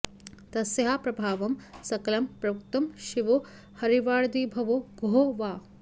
तस्याः प्रभावं सकलं प्रवक्तुं शिवो हरिर्वादिभवो गुहो वा